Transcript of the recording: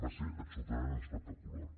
va ser absolutament espectacular